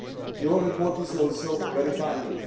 Your report is also very timely.